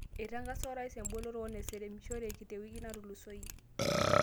Eitangasa orais eboloto oo neseremishoreki te wiki natulusoyie